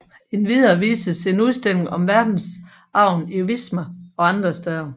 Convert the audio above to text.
Endvidere vises en udstilling om verdensarven i Wismar og andre steder